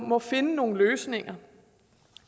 må finde nogle løsninger